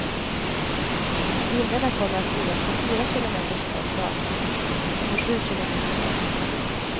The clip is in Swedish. Bilderna kommer att synas på fyra kilometers håll dagtid och på sju kilometers håll nattetid.